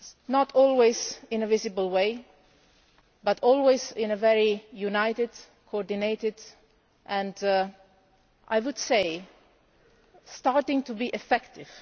not always in a visible way but always in a very united, coordinated way and one, I would say, that is starting to be effective.